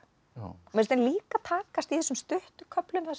mér henni líka takast í þessum stuttu köflum þar